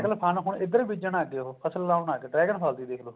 dragon ਫਲ ਹੁਣ ਇੱਧਰ ਵੀ ਬੀਜਣ ਲੱਗ ਗੇ ਉਹ ਫਸਲ ਲਗਾਉਣ ਲੱਗਗੇ dragon ਫਲ ਦੀ ਵੀ ਦੇਖਲੋ